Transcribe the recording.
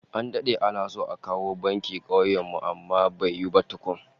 An dade ana so a kawo banki kauyen mu amma bai yiwu ba tukun